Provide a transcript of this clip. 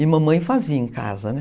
E mamãe fazia em casa, né?